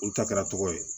Olu ta kɛra tɔgɔ ye